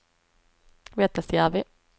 Vettasjärvi